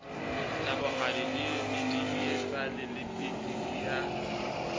thabohadi medidietsane le pitiki ya